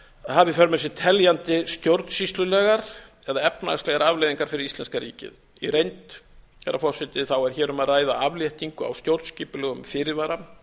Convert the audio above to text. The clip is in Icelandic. hafi í för með sér teljandi stjórnsýslulegar eða efnahagslegar afleiðingar fyrir íslenska ríkið í reynd herra forseti er hér um að ræða afléttingu á stjórnskipulegum fyrirvara